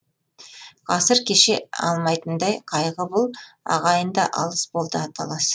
ғасыр кеше алмайтындай қайғы бұл ағайын да алыс болды аталас